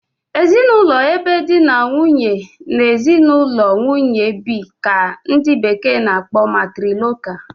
Ezinụlọ ebe di na nwunye na ezinụlọ nwunye bi ka ndị bekee na- akpọ 'Matrilocal'